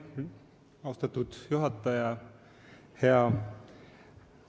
Austatud juhataja!